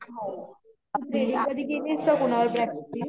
तू threading तरी केलीये का कुणावर प्रॅक्टिस?